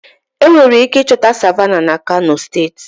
Enwere ike ịchọta Savannahs na kano steeti